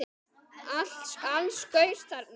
Alls gaus þarna